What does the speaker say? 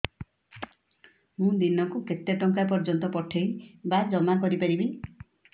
ମୁ ଦିନକୁ କେତେ ଟଙ୍କା ପର୍ଯ୍ୟନ୍ତ ପଠେଇ ବା ଜମା କରି ପାରିବି